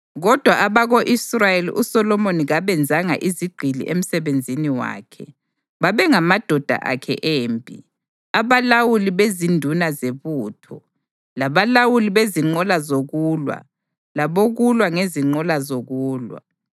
Kodwa abako-Israyeli uSolomoni kabenzanga izigqili emsebenzini wakhe; babengamadoda akhe empi, abalawuli bezinduna zebutho, labalawuli bezinqola zokulwa labokulwa ngezinqola zokulwa.